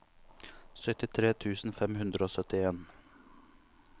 syttitre tusen fem hundre og syttien